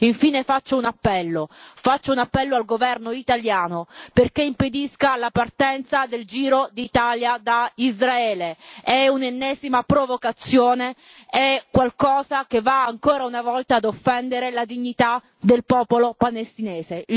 Infine faccio un appello al governo italiano affinché impedisca la partenza del Giro d'Italia da Israele è un'ennesima provocazione, è qualcosa che va ancora una volta a offendere la dignità del popolo palestinese.